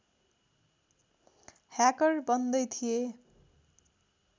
hacker बन्दै थिए